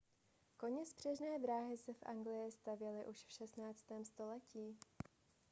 koněspřežné dráhy se v anglii stavěly už v 16. století